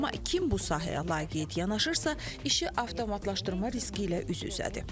Amma kim bu sahəyə laqeyd yanaşırsa, işi avtomatlaşdırma riski ilə üz-üzədir.